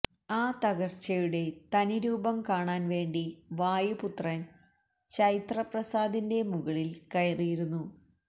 ആ തകര്ച്ചയുടെ തനിരൂപം കാണാന് വേണ്ടി വായു പുത്രന് ചൈത്ര പ്രാസാദത്തിന്റെ മുകളില് കയറിയിരുന്നു